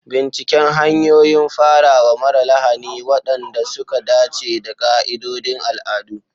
Binciken hanyoyin farawa mara lahani waɗanda suka dace da ƙa'idodin al'adu.